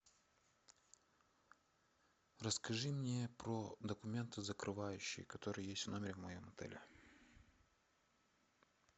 расскажи мне про документы закрывающие которые есть в номере в моем отеле